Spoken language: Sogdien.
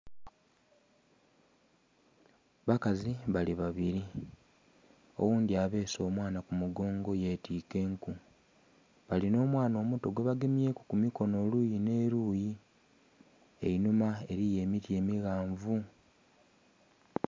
bakazi bali babiri oghundhi abeese omwana ku mugongo yetika enku, balinha omwana omuto gwe bagemyeku ku mukono eluyi neluyi, einhuma eliyo emiti emighanvu